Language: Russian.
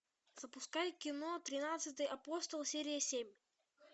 запускай кино тринадцатый апостол серия семь